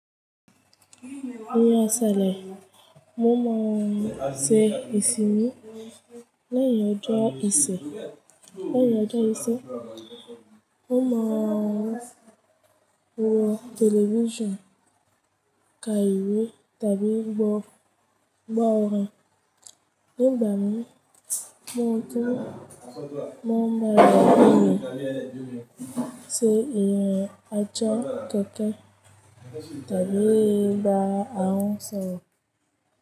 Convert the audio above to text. Awin isele. Mo man nse isimi. Leyin ojo ise. Leyin ojo ise. Mo man wo television ka iwe tabi gbo gbo orin. Ni gbami. Mo tun mo ma le nye se yen atcha totin tabi gba awon soro.